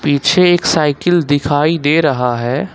पीछे एक साइकिल दिखाई दे रहा है।